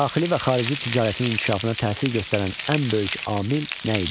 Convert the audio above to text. Daxili və xarici ticarətin inkişafına təsir göstərən ən böyük amil nə idi?